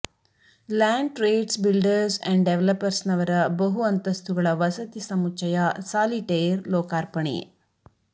land trades builders and ಡೆವೆಲಪ್ಪರ್ಸ್ನವರ ಬಹು ಅಂತಸ್ತುಗಳ ವಸತಿ ಸಮುಚ್ಚಯ ಸಾಲಿಟೇರ್ ಲೋಕಾರ್ಪಣೆ